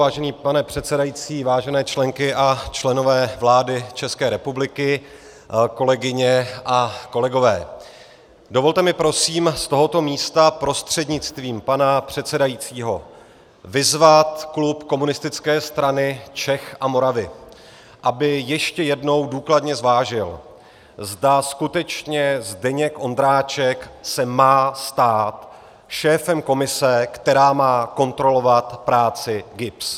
Vážený pane předsedající, vážené členky a členové vlády České republiky, kolegyně a kolegové, dovolte mi prosím z tohoto místa prostřednictvím pana předsedajícího vyzvat klub Komunistické strany Čech a Moravy, aby ještě jednou důkladně zvážil, zda skutečně Zdeněk Ondráček se má stát šéfem komise, která má kontrolovat práci GIBS.